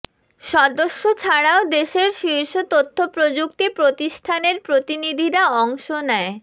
সদস্য ছাড়াও দেশের শীর্ষ তথ্যপ্রযুক্তি প্রতিষ্ঠানের প্রতিনিধিরা অংশ নেয়